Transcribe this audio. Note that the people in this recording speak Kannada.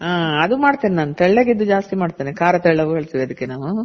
ಹಾ ಅದು ಮಾಡ್ತಿನಿ ನಾನು ತೆಳ್ಳಗಿದ್ದು ಜಾಸ್ತಿ ಮಾಡ್ತಿವಿ ಖಾರ ಅಂತ ಹೇಳ್ತಿವ್ ನಾವು.